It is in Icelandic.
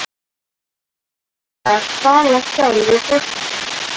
En var Svala sjálf í fótbolta?